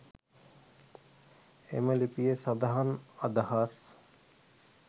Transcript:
එම ලිපියේ සඳහන් අදහස්